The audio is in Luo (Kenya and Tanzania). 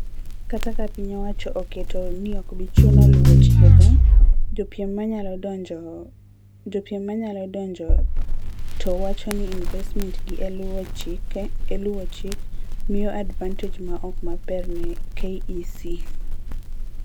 Kata ka piny owacho oketo ni okbichuno luwo chike go ,jopiem nyalo donjo to wacho ni investments gi e luwo chik miyo advantage ma ok maber ne KEC.